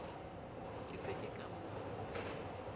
ke se ke ka mo